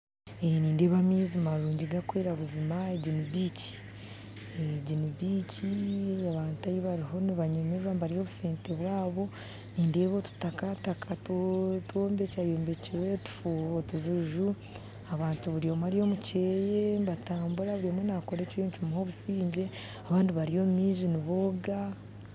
Nindeeba amaizi marungi gakwera buzima egi ni beach eh egi ni beach abantu ahu bariyo nibabanyumirwa nibarya obusente bwabo nindeeba otutakataka twombekyayombekyire otujuju abantu buri omwe ari omukyeye mbatambura buri omwe nakora ekiriyo nikimuha obusingye abandi bari omumaizi nibooga.